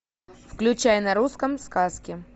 включай на русском сказки